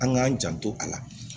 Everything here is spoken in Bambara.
An k'an janto a la